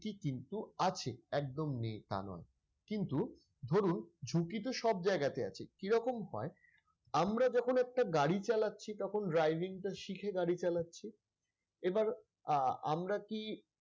আছে একদম নেই তা নয় কিন্তু ধরুন ঝুঁকি তো সব জায়গাতেই আছে কিরকম হয় আমরা যখন একটা গাড়ি চালাচ্ছি তখন driving টা শিখে গাড়ি চালাচ্ছি এবার আহ আমরা কি,